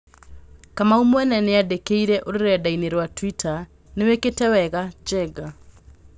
Kamau mwene nĩandĩkire rũrendaini rwa twita: "Nĩwĩkite wega, Njenga